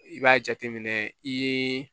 I b'a jateminɛ i ye